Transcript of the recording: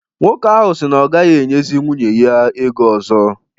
Nwoke ahụ si na ọ gaghị enyezi nwunye ya ego ọzọ